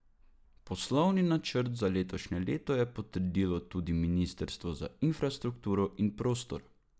Poslovni načrt za letošnje leto je potrdilo tudi ministrstvo za infrastrukturo in prostor.